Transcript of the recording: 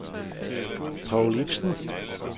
Paul Ipsen